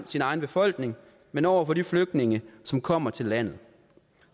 sin egen befolkning men over for de flygtninge som kommer til landet